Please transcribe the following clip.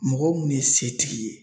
Mɔgɔ munnu ye setigi ye